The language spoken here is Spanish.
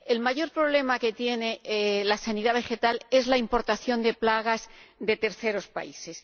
El mayor problema que tiene la sanidad vegetal es la importación de plagas de terceros países.